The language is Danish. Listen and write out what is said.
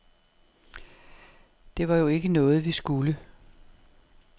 Det var jo ikke noget, vi skulle.